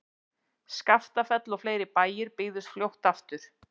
Skaftafell og fleiri bæir byggðust fljótt aftur.